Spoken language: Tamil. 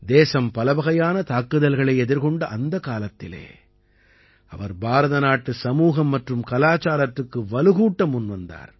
தேசம் பலவகையான தாக்குதல்களை எதிர்கொண்ட அந்தக் காலத்திலே அவர் பாரதநாட்டு சமூகம் மற்றும் கலாச்சாரத்துக்கு வலுக்கூட்ட முன்வந்தார்